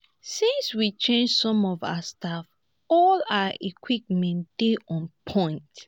since we change some of our staff all our equipment dey on point